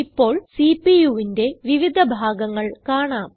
ഇപ്പോൾ CPUന്റെ വിവിധ ഭാഗങ്ങൾ കാണാം